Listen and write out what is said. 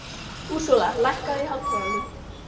Úrsúla, lækkaðu í hátalaranum.